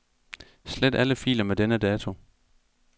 Slet alle filer med denne dato.